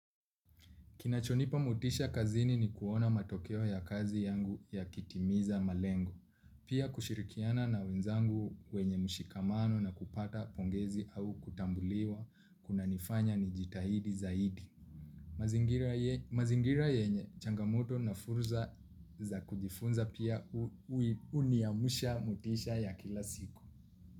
Kinachonipa motisha kazini ni kuona matokeo ya kazi yangu yakitimiza malengo pia kushirikiana na wenzangu wenye mshikamano na kupata pongezi au kutambuliwa kunanifanya nijitahidi zaidi. Mazingira mazingira yenye changamoto na fursa za kujifunza pia huniamsha motisha ya kila siku.